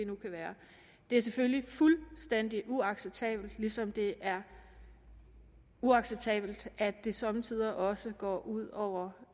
nu kan være det er selvfølgelig fuldstændig uacceptabelt ligesom det er uacceptabelt at det somme tider også går ud over